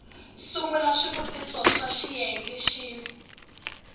sungula swivutiso swa xiyenge xin